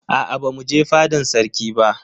Aa bamu je fadan sarki ba.